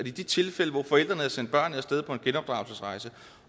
i de tilfælde hvor forældrene havde sendt børnene af sted på en genopdragelsesrejse